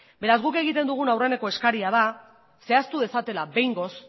beraz guk egiten dugun aurreneko eskaria da zehaztu dezatela behingoz